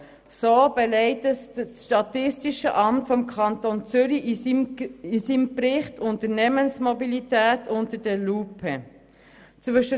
Dies belegt auch der Bericht «Unternehmensmobilität unter der Lupe» des Statistischen Amts des Kantons Zürich.